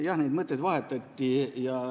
Jah, neid mõtteid vahetati.